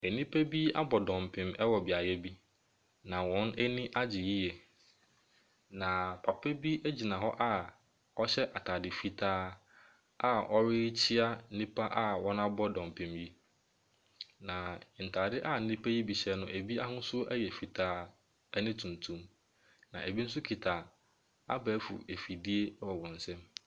Nnipa bi abɔ dɔmpem wɔ beaeɛ bi. Na wɔn ani agye yie. Na papa bi gyina hɔ a ɔhyɛ ataade fitaa a ɔrekyia nnipa a wɔabɔ dɔmpem yi. Na ntaade a nnipa yi bi hyɛ no bi ahosu yɛ fitaa ne tuntum na bi nso kita abɛɛfo mfidie nso wɔ wɔn kɔn mu.